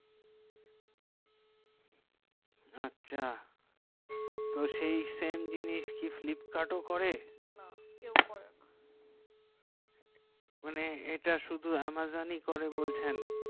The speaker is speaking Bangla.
আচ্ছা তো সেই জিনিস কি flipkart ও করে না কেহু করে না মানে এটা শুধু amazon ই করে বলছেন